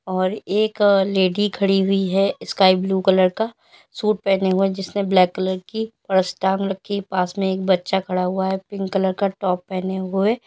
और एक लेडी खड़ी हुई है स्काई ब्लू कलर का सूट पहने हुए जिसे ब्लैक कलर की और पर्स टांग रखी है पास में एक बच्चा खड़ा हुआ है पिंक कलर का टॉप पहने हुए।